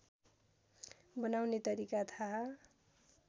बनाउने तरिका थाहा